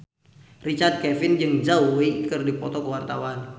Richard Kevin jeung Zhao Wei keur dipoto ku wartawan